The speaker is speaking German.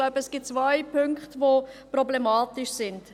Ich denke, es gibt zwei Punkte, die problematisch sind.